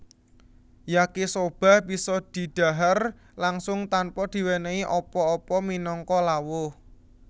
Yakisoba bisa didhahar langsung tanpa diwenehi apa apa minangka lawuh